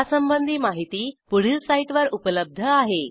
यासंबंधी माहिती पुढील साईटवर उपलब्ध आहे